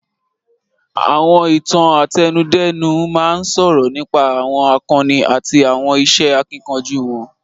Àwọn Ìtàn àtẹnudẹ́nu máa ń sọ̀rọ̀ nípa àwọn àkọni àti àwọn iṣẹ́ akíkanjú wọn